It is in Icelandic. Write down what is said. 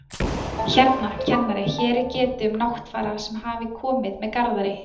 Hérna, kennari, hér er getið um Náttfara sem hafi komið með Garðari